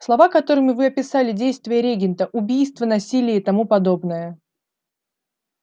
слова которыми вы описали действия регента убийства насилие и тому подобное